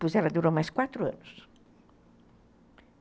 Pois ela durou mais quatro anos.